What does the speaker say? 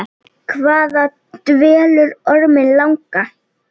Hvað dvelur orminn langa?